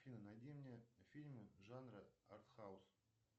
афина найди мне фильмы жанра артхаус